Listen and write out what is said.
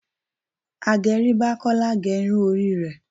Agẹrí bá Kọ́lá gẹ irun rẹ̀.